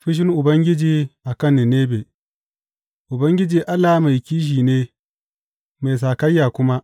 Fushin Ubangiji a kan Ninebe Ubangiji Allah mai kishi ne, mai sakayya kuma.